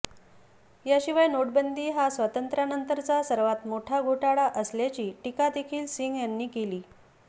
याशिवाय नोटबंदी हा स्वातंत्र्यानंतरचा सर्वात मोठा घोटाळा असल्याची टीका देखील सिंग यांनी केली